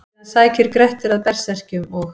Síðan sækir Grettir að berserkjum og: